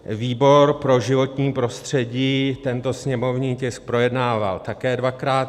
Výbor pro životní prostředí tento sněmovní tisk projednával také dvakrát.